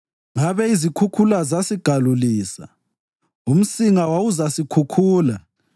ngabe izikhukhula zasigalulisa, umsinga wawuzasikhukhula,